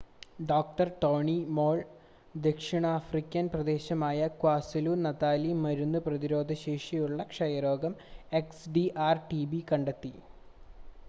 ഡോ. Tony Moll ദക്ഷിണാഫ്രിക്കൻ പ്രദേശമായ ക്വാസുലു-നതാലിൽ മരുന്ന് പ്രതിരോധശേഷിയുള്ള ക്ഷയരോഗം എക്സ്ഡിആർ-ടിബി കണ്ടെത്തി